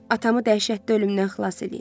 Atamı dəhşətli ölümdən xilas eləyin.